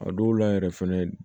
A dɔw la yɛrɛ fɛnɛ